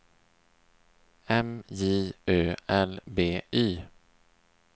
M J Ö L B Y